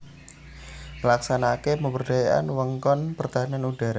Nglaksanakaké pemberdayaan wewengkon pertahanan udhara